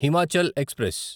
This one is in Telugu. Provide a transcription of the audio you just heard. హిమాచల్ ఎక్స్ప్రెస్